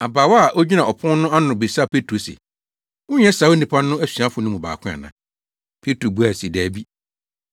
Abaawa a ogyina ɔpon ano no bisaa Petro se, “Wonyɛ saa onipa no asuafo no mu baako ana?” Petro buae se, “Dabi.”